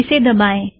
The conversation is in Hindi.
इसे दबाएँ